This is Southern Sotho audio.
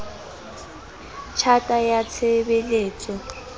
tj hata ya tshe beletso